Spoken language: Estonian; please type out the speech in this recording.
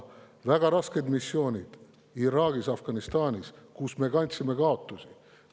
Väga rasketel missioonidel Iraagis ja Afganistanis me kandsime kaotusi.